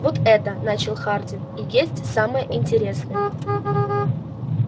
вот это начал хардин и есть самое интересное